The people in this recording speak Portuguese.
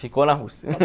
Ficou na Rússia.